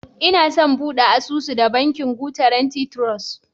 Inason bude asusu da Bankin Guarantee Trust.